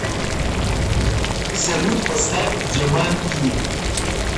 салют поставь джаман ти